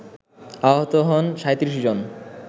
আহত হন ৩৭ জন